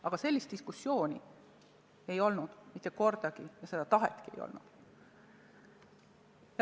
Aga sellist diskussiooni ei olnud mitte kordagi ja seda tahetki ei olnud.